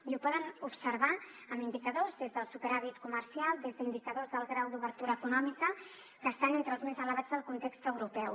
i ho poden observar amb indicadors des del superàvit comercial des d’indicadors del grau d’obertura econòmica que estan entre els més elevats del context europeu